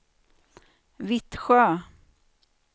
Vittsjö